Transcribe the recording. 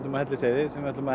á Hellisheiði sem við ætlum að